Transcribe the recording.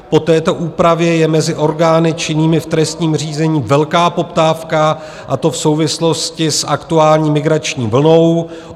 Po této úpravě je mezi orgány činnými v trestním řízení velká poptávka, a to v souvislosti s aktuální migrační vlnou.